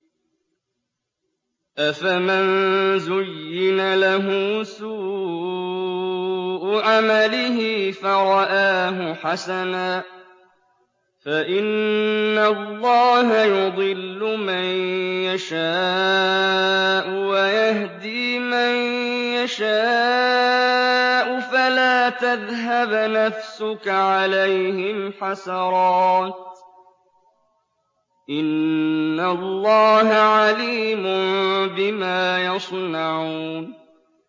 أَفَمَن زُيِّنَ لَهُ سُوءُ عَمَلِهِ فَرَآهُ حَسَنًا ۖ فَإِنَّ اللَّهَ يُضِلُّ مَن يَشَاءُ وَيَهْدِي مَن يَشَاءُ ۖ فَلَا تَذْهَبْ نَفْسُكَ عَلَيْهِمْ حَسَرَاتٍ ۚ إِنَّ اللَّهَ عَلِيمٌ بِمَا يَصْنَعُونَ